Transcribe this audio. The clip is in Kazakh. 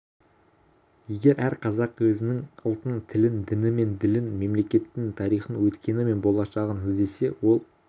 егер әр қазақ өзінің ұлтын тілін діні мен ділін мемлекетінің тарихын өткені мен болашағын іздесе ол